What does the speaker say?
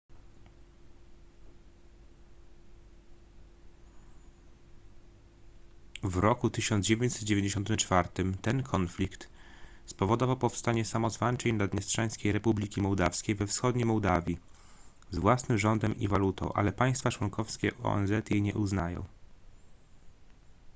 w roku 1994 ten konflikt spowodował powstanie samozwańczej naddniestrzańskiej republiki mołdawskiej we wschodniej mołdawii z własnym rządem i walutą ale państwa członkowskie onz jej nie uznają